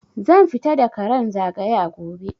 Zan fita da karan zagaya gobe